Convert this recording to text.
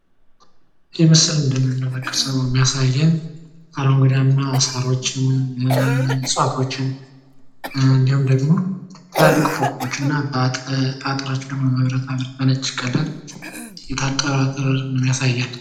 ይህ ምስል እንደምንመለከተው እንደሚያሳየን አረንጓዴያማ ሳሮችን እፅዋቶችን እንዲሁም ደግሞ ትላልቅ ፎቆች አጥራቸውን መብራት ባለው በነጭ ከለር የታጠረ አጥር ነው የሚያሳየን።